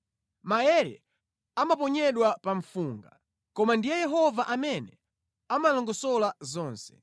Maere amaponyedwa pa mfunga, koma ndiye Yehova amene amalongosola zonse.